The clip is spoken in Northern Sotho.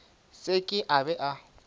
se ke a be a